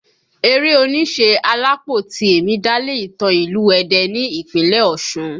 Eré oníṣe Alápó Tìẹ̀mì dálé ìtàn ìlú Ẹdẹ ní Ìpínlẹ̀ Ọ̀ṣun